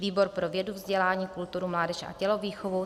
Výbor pro vědu, vzdělání, kulturu, mládež a tělovýchovu: